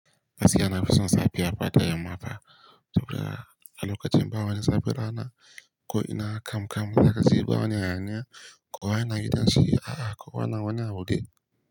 Gaskiya na fi son safiya fa da yamma fa, to kaga a lokacin ba wani zafin rana ko ina kamkam mana kasuwa wani hayaniya kowa yana gidan shi a'a kowa na wani abu dai.